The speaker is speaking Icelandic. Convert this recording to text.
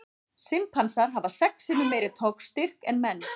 Simpansar hafa sex sinnum meiri togstyrk en menn.